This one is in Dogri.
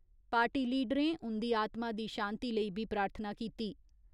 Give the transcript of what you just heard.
पार्टी लीडरें उन्दी आत्मा दी शांति लेई बी प्रार्थना कीती।